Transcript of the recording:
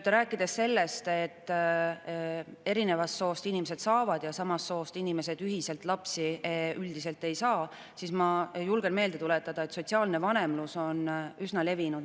Rääkides sellest, et eri soost inimesed saavad ühiselt lapsi, aga samast soost inimesed üldiselt ei saa, julgen ma meelde tuletada, et sotsiaalne vanemlus on üsna levinud.